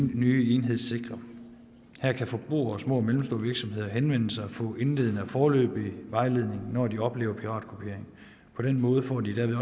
nye enhed sikre her kan forbrugere og små og mellemstore virksomheder henvende sig og få indledende og foreløbig vejledning når de oplever piratkopiering på den måde får de derved